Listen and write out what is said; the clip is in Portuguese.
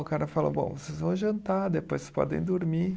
O cara falou, bom, vocês vão jantar, depois podem dormir.